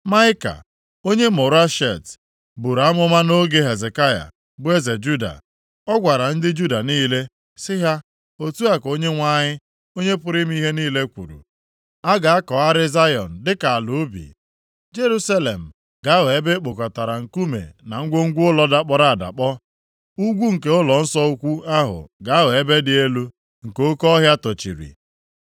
“Maịka onye Moreshet buru amụma nʼoge Hezekaya, bụ eze Juda. Ọ gwara ndị Juda niile, sị ha, ‘Otu a ka Onyenwe anyị, Onye pụrụ ime ihe niile kwuru: “ ‘A ga-akọgharị Zayọn dịka ala ubi. Jerusalem ga-aghọ ebe e kpokọtara nkume na ngwongwo ụlọ dakpọrọ adakpọ, ugwu nke ụlọnsọ ukwu ahụ ga-aghọ ebe dị elu nke oke ọhịa tochiri.’